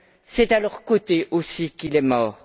C'est à leurs côtés, aussi, qu'il est mort.